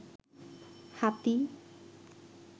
হাতী